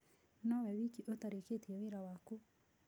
No we wiki ũtarĩkĩtie wĩra waku.